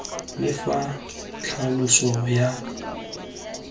le fa tlhaloso ya faele